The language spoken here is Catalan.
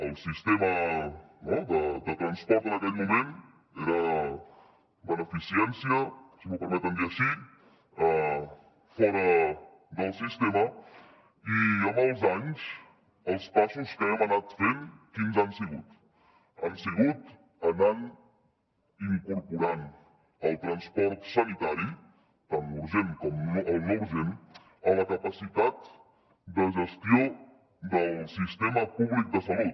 el sistema de transport en aquell moment era beneficència si m’ho permeten dir així fora del sistema i amb els anys els passos que hem anat fent quins han sigut han sigut anar incorporant el transport sanitari tant l’urgent com el no urgent a la capacitat de gestió del sistema públic de salut